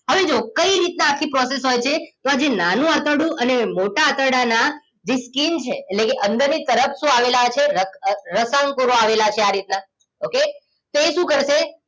હવે જુઓ કઈ રીતના આખી process હોય છે તો આજે નાનું આંતરડું અને મોટા આંતરડાના જે skin છે એટલે કે અંદરની તરફ શું આવેલા છે રસાંકોણો આવેલા છે આ રીતના okay તો એ શું કરશે